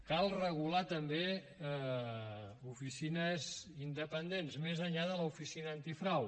cal regular també oficines independents més enllà de l’oficina antifrau